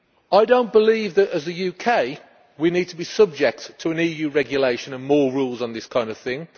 I do not believe that, as the UK, we need to be subject to an EU regulation and more rules on this kind of thing.